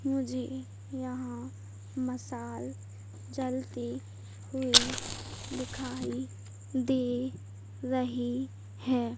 मुझे यहां मसाल जलती हुई दिखाई दे रही है।